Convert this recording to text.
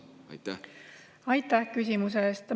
Aitäh küsimuse eest!